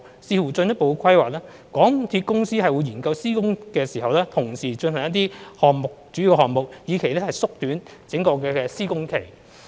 視乎進一步規劃，香港鐵路有限公司會研究施工時同時進行一些主要項目，以期縮短整個施工期。